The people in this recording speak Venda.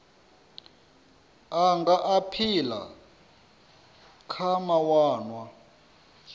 a nga aphila kha mawanwa